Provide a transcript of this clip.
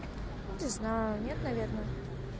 знаю нет наверное